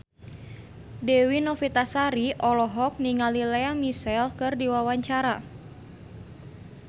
Dewi Novitasari olohok ningali Lea Michele keur diwawancara